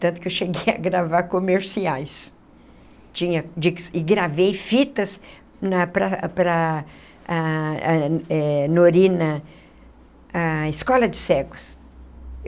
Tanto que eu cheguei a gravar comerciais tinha e gravei fitas na para para a a eh Norina, a escola de cegos.